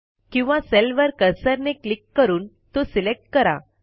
किंवा सेलवर कर्सरने क्लिक करून तो सिलेक्ट करा